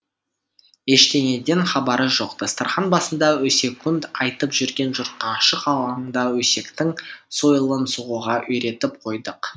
ештеңеден хабары жоқ дастархан басында өсек айтып жүрген жұртқа ашық алаңда өсектің сойылын соғуға үйретіп қойдық